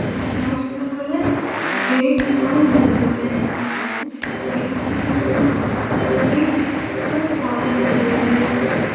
इस चर्च का colour red और येलो है इसके साइड साइड में बहोत सारे पेड़ और पौधे लगे हुए है।